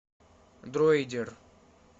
дроидер